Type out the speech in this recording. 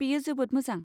बेयो जोबोद मोजां।